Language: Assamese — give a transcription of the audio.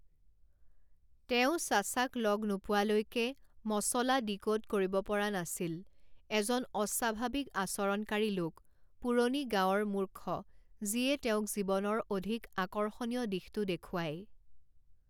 তেওঁ চাচাক লগ নোপোৱালৈকে মচলা ডিকোড কৰিব পৰা নাছিল, এজন অস্বাভাৱিক আচৰণকাৰী লোক, পুৰণি গাওঁৰ মূৰ্খ যিয়ে তেওঁক জীৱনৰ অধিক আকৰ্ষণীয় দিশটো দেখুৱায়।